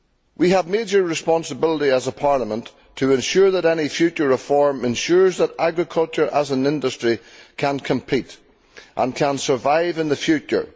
We have a major responsibility as a Parliament to ensure that any future reform ensures that agriculture as an industry can compete and can survive in the future.